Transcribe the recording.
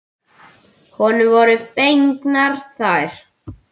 Honum voru fengnar þær.